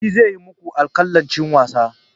Shi zai maku alƙalancin wasa.